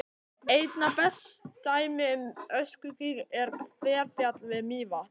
Einna best dæmi um öskugíg er Hverfjall við Mývatn.